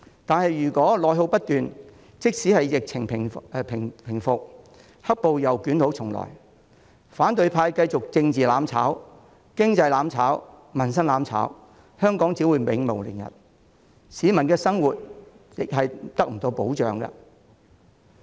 但如果內耗不斷，即使疫情平復，"黑暴"又捲土重來，反對派繼續政治"攬炒"、經濟"攬炒"、民生"攬炒"，香港只會永無寧日，市民的生活亦得不到保障。